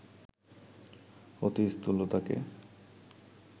অতি স্থূলতাকে